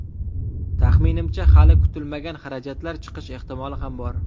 Taxminimcha, hali kutilmagan xarajatlar chiqish ehtimoli ham bor.